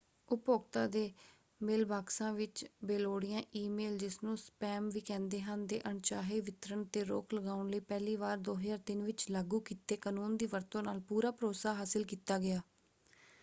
ਉਪਭੋਗਤਾ ਦੇ ਮੇਲਬਾਕਸਾਂ ਵਿੱਚ ਬੇਲੋੜੀਆਂ ਈ-ਮੇਲ ਜਿਸਨੂੰ ਸਪੈਮ ਵੀ ਕਹਿੰਦੇ ਹਨ ਦੇ ਅਣਚਾਹੇ ਵਿਤਰਣ 'ਤੇ ਰੋਕ ਲਗਾਉਣ ਲਈ ਪਹਿਲੀ ਵਾਰ 2003 ਵਿੱਚ ਲਾਗੂ ਕੀਤੇ ਕਨੂੰਨ ਦੀ ਵਰਤੋਂ ਨਾਲ ਪੂਰਾ ਭਰੋਸਾ ਹਾਸਲ ਕੀਤਾ ਗਿਆ।